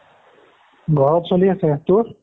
ঘৰত চলি আছে তোৰ